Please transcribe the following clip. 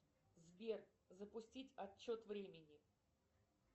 сбер запустить отчет времени